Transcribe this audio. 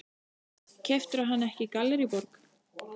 Keyptirðu hana ekki í Gallerí Borg?